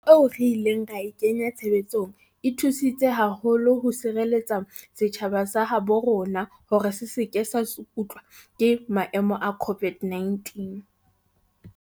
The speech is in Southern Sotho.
Mehato eo re ileng ra e kenya tshebetsong e thusi tse haholo ho sireletseng setjhaba sa habo rona hore se se ke sa tsukutlwa ke maemo a COVID-19.